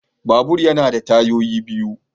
Babur yana da tayoyi biyu